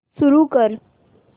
सुरू कर